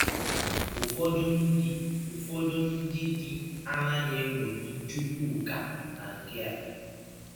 Ụfọdụ ndị Ụfọdụ ndị di anaghị eṅọmi Chụkwụka na nke a.